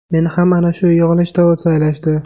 Meni ham ana shu yig‘ilishda saylashdi.